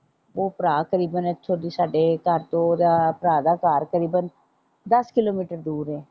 ਉਹ ਭਰਾ ਤਕਰੀਬਨ ਇਥੋਂ ਦੀ ਸਾਡੇ ਘਰ ਤੋਂ ਓਹਦਾ ਭਰਾ ਦਾ ਘਰ ਕਰੀਬਨ ਦੱਸ ਕਿਲੋਮੀਟਰ ਦੂਰ ਏ।